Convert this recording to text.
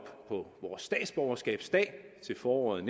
på vores statsborgerskabsdag til foråret